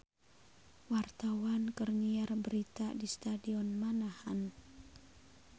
Wartawan keur nyiar berita di Stadion Manahan